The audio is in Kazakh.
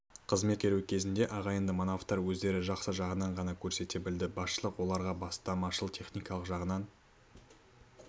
қызмет өткеру кезеңінде ағайынды манаповтар өздерін жақсы жағынан ғана көрсете білді басшылық оларға бастамашыл техникалық жағынан